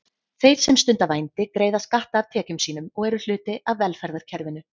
Þeir sem stunda vændi greiða skatta af tekjum sínum og eru hluti af velferðarkerfinu.